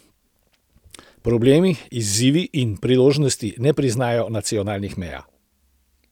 Problemi, izzivi in priložnosti ne priznajo nacionalnih meja.